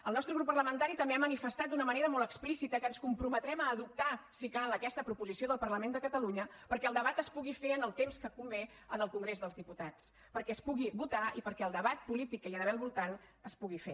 el nostre grup parlamentari també ha manifestat d’una manera molt explícita que ens comprometrem a adoptar si cal aquesta proposició del parlament de catalunya perquè el debat es pugui fer en el temps que convé en el congrés dels diputats perquè es pugui votar i perquè el debat polític que hi ha d’haver al voltant es pugui fer